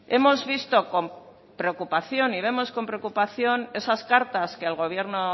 hemos visto con preocupación y vemos con preocupación esas cartas que el gobierno